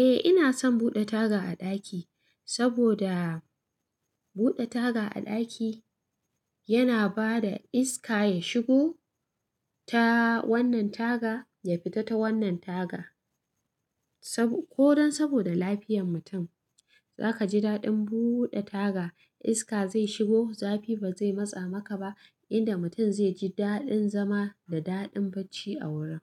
Eh, ina son buɗe taga a ɗaki, saboda buɗe taga a ɗaki yana bada iska ya shigo ta wannan taga ya fita ta wannan taga. Ko dan saboda lafiyan mutum, za ka ji daɗin buɗe taga iska zai shigo zafi ba zai matsa maka ba, inda mutum zai ji daɗin zama da daɗin bacci a wurin.